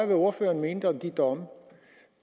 hvad ordføreren mente om de domme